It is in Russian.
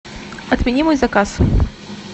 отмени мой заказ